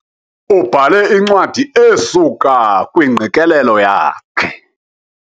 Ubhale incwadi esuka kwingqikelelo yakhe.